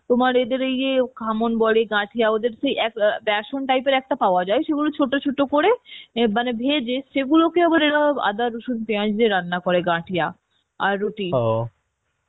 তোমার এদের ইয়ে ঘামন বলে গাঠিয়াওদের সেই এ ক এ বেসন type এর একটা পাওয়া যায় সেগুলো ছোট ছোট করে এন মানে ভেজে এগুলোকে আবার এরা আদা রসুন পেঁয়াজ দিয়ে রান্না করে গাঠিয়া আর রুটি